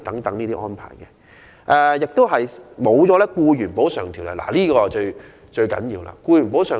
同時，他們亦得不到《僱員補償條例》的保障，而這點至為重要。